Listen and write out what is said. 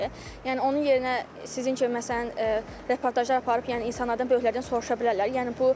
Yəni onun yerinə sizin kimi məsələn reportajlar aparıb, yəni insanlardan böyüklərdən soruşa bilərlər.